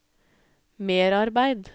merarbeid